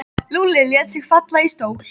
Lúlli lét sig falla í stól.